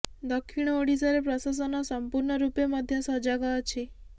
ଦକ୍ଷିଣ ଓଡ଼ିଶାରେ ପ୍ରଶାସନ ସମ୍ପୂର୍ଣ୍ଣ ରୂପେ ମଧ୍ୟ ସଜାଗ ଅଛି